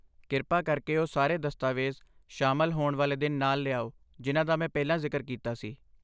ਕਿਰਪਾ ਕਰਕੇ ਉਹ ਸਾਰੇ ਦਸਤਾਵੇਜ਼ ਸ਼ਾਮਲ ਹੋਣ ਵਾਲੇ ਦਿਨ ਨਾਲ ਲਿਆਓ ਜਿਨ੍ਹਾਂ ਦਾ ਮੈਂ ਪਹਿਲਾਂ ਜ਼ਿਕਰ ਕੀਤਾ ਸੀ।